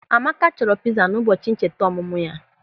Amaka chọrọ pịza n'ụbọchị ncheta ọmụmụ ya.